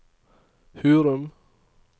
Hurum